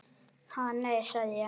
Ha, nei, sagði ég.